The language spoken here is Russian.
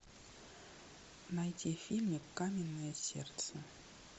найти фильмик каменное сердце